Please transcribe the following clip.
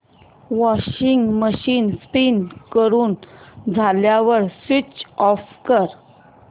washing machine spin पूर्ण झाल्यावर switch off कर